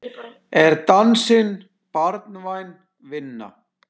Er dansinn barnvæn vinna?